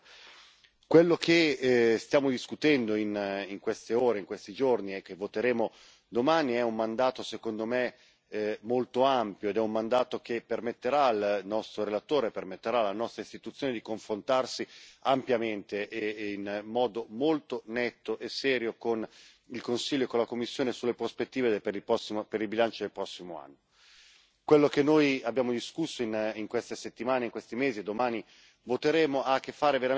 Quello che stiamo discutendo in queste ore, in questi giorni, e che voteremo domani è un mandato, secondo me, molto ampio, un mandato che permetterà al nostro relatore e quindi alla nostra istituzione di confrontarsi ampiamente, in modo molto netto e serio con il Consiglio e con la Commissione sulle prospettive per il bilancio del prossimo anno. Quello che noi abbiamo discusso in queste settimane, in questi mesi, e che domani voteremo ha a che fare veramente con